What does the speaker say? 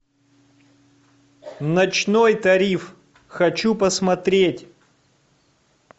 ночной тариф хочу посмотреть